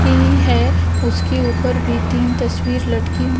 सी है उसके ऊपर भी तीन तस्वीर लटकी --